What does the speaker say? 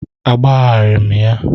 Agbagharaghị m ya.